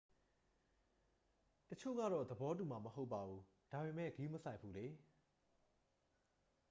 """တစ်ချို့ကတော့ သဘောတူမှာ မဟုတ်ပါဘူး၊ ဒါပေမယ့် ဂရုမစိုက်ဘူးလေ။